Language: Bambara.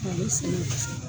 A bi segin